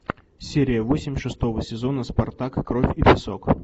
серия восемь шестого сезона спартак кровь и песок